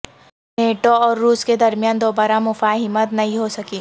NATO اور روس کے درمیان دوبارہ مفاہمت نہیں ہو سکی